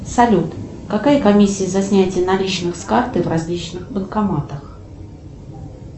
салют какая комиссия за снятие наличных с карты в различных банкоматах